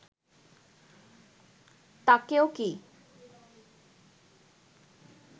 তাঁকেও কী